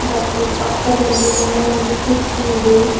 ಮತ್ತು ಪಕ್ಕದಲ್ಲಿ ಇನ್ನು ಒಂದು ಕುರ್ಚಿ ಇದೆ.